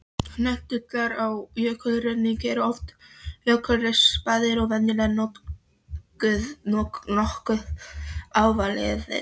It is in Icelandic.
Hnullungar í jökulruðningi eru oft jökulrispaðir og venjulega nokkuð ávalaðir.